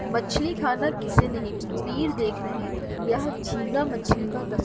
मछली खाना किसे नहीं देख रहें यह झींगा मछली का दस --